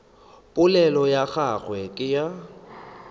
polelo ya gagwe ke ya